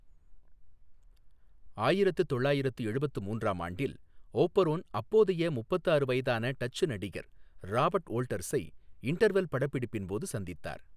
ஆயிரத்து தொள்ளாயிரத்து எழுபத்து மூன்றாம் ஆண்டில், ஓபரோன் அப்போதைய முப்பத்து ஆறு வயதான டச்சு நடிகர் ராபர்ட் வோல்டர்ஸை இன்டர்வெல் படப்பிடிப்பின் போது சந்தித்தார்.